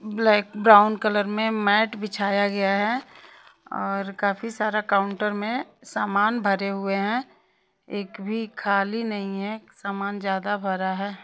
Black brown colour में mat बिछाया गया है और काफी सारा काउंटर में समान भरे हुए हैं एक भी खाली नहीं है समान ज्यादा भरा है।